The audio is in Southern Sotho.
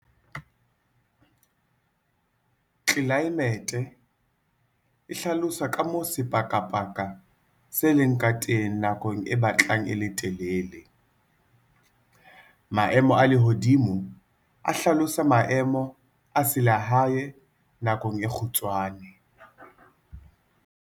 Tlelaemete - e hlalosa ka moo sepakapaka se leng ka teng nakong e batlang e le telele. Maemo a lehodimo - a hlalosa maemo a selehae nakong e kgutshwane.